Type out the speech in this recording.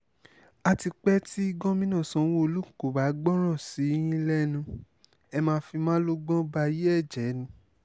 àti pé tí gomina sanwó-olu kò bá gbọ́rọ̀ sí yín lẹ́nu ẹ̀ máa fi malógbòn báyé ẹ̀ jẹ ni